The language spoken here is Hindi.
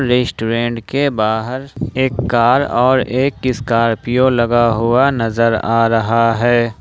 रेस्टोरेंट के बाहर एक कार और एक स्कॉर्पियो लगा हुआ नजर आ रहा है।